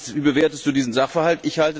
Wie bewertest du diesen Sachverhalt?